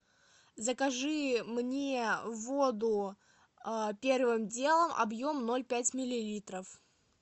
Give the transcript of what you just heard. закажи мне воду первым делом объем ноль пять миллилитров